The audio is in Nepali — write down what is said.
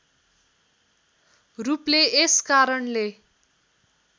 रूपले यस कारणले